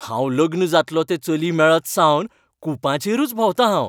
हांव लग्न जातलो तें चली मेळतसावन कुपांचेरूच भोंवतां हांव.